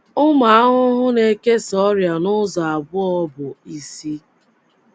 Ụmụ ahụhụ na - ekesa ọrịa n’ụzọ abụọ bụ́ isi.